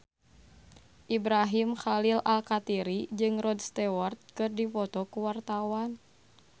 Ibrahim Khalil Alkatiri jeung Rod Stewart keur dipoto ku wartawan